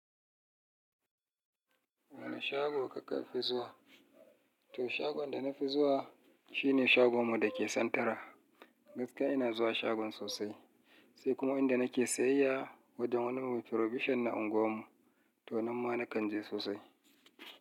Wane shago kaka fi zuwa? To shagon da na fi zuwa shi ne shagon mu da ke santara. Gaskiya ina zuwa shagon sosai. Sai kuma inda nake sayayya wajen wani mai provision na unguwarmu. To nan ma na kan je sosai.